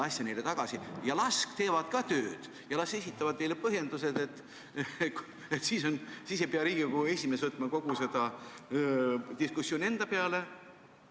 Las see komisjon teeb ka tööd ja esitab meile põhjendused, siis ei pea Riigikogu esimees võtma kogu seda diskussiooni enda peale.